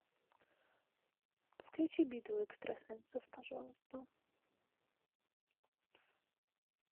включи битву экстрасенсов пожалуйста